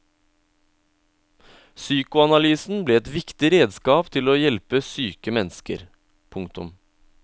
Psykoanalysen ble et viktig redskap til å hjelpe syke mennesker. punktum